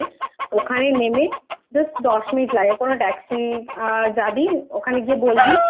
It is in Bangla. Station আছে ওখানে নেমে Just দশ মিনিট লাগে কোন Taxi যাবি ওখানে গিয়ে বলবি